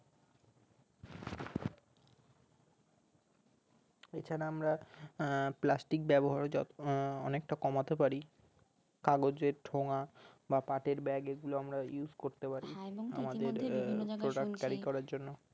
এছাড়া আমরা আহ plastic ব্যাবহার য আহ অনেকটা কমাতে পারি কাগজের ঠোঙা বা পাটের ব্যাগ এই গুলো আমরা use করতে পারি product-carry করার জন্য